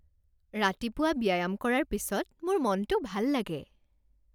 ৰাতিপুৱা ব্যায়াম কৰাৰ পিছত মোৰ মনটো ভাল লাগে